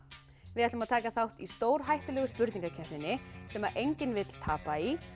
við ætlum að taka þátt í stórhættulegu spurningakeppninni sem enginn vill tapa í